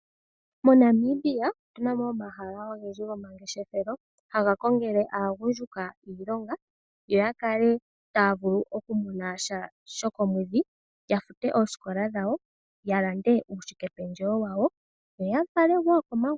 MoNamibia otuna mo omahala ogendji gomangeshefelo ngoka haga kongele aagundjuka iilongo, yo yavule okumona sha shokomwedhi yafute oosikola dhawo yalande uushike pendjewo wawo ya yafale wo komagumbo.